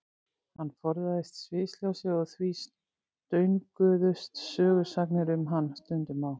Hann forðaðist sviðsljósið og því stönguðust sögusagnir um hann stundum á.